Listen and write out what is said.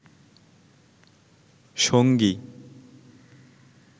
সঙ্গী